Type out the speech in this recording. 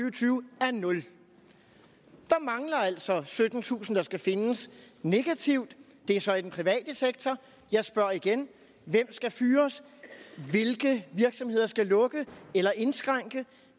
og tyve er nul der mangler altså syttentusind der skal findes negativt det er så i den private sektor jeg spørger igen hvem skal fyres hvilke virksomheder skal lukke eller indskrænke